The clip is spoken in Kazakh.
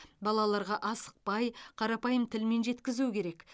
балаларға асықпай қарапайым тілмен жеткізу керек